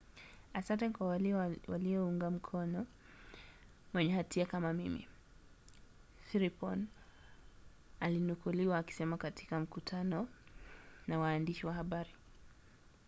"asante kwa wale waliounga mkono mwenye hatia kama mimi siriporn alinukuliwa akisema katika mkutano na waandishi wa habari